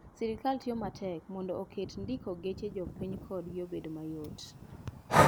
Sirkal tiyo matek mondo oket ndiko geche jopiny kodgi obed mayot.